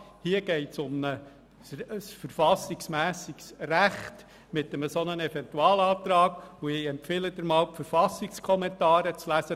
Bei einem solchen Eventualantrag geht es um ein verfassungsmässiges Recht, und ich empfehle Ihnen, die Verfassungskommentare zu lesen.